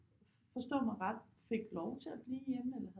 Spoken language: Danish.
Forstå mig ret fik lov til at blive hjemme eller